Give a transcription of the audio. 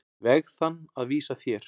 veg þann að vísa þér.